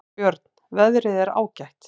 Björn: Veðrið er ágætt.